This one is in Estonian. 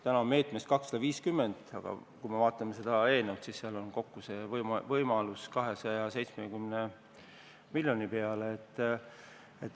Täna on meetmes 250 miljonit, aga kui vaatame seda eelnõu, siis seal on võimalusi suurendada seda kokku 270 miljoni peale.